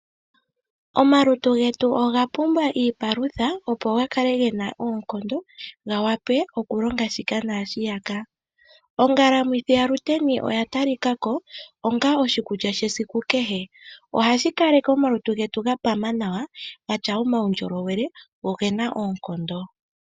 Omalutu getu oga pumbwa iipalutha opo ga kale ge na oonkondo, ga wape okulonga shika nashiyaka. Ongalamwithi yaShiteni oya tali kako onga oshikulya shesiku kehe. Ohashi kale ke omalutu getu ga pama nawa ga tya omaundjolowele go oge na oonkondo.